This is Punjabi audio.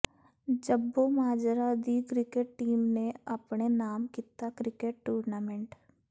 ਜੱਬੋਮਾਜਰਾ ਦੀ ਕ੍ਰਿਕੇਟ ਟੀਮ ਨੇ ਆਪਣੇ ਨਾਮ ਕੀਤਾ ਕ੍ਰਿਕੇਟ ਟੂਰਨਾਮੈਂਟ